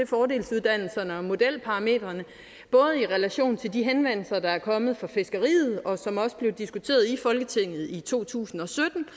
fordelsuddannelserne og modelparametrene både i relation til de henvendelser der er kommet fra fiskeriet og som også blev diskuteret i folketinget i to tusind og